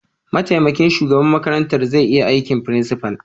Mataimakin shugaban makarantar zai iya aikin principal.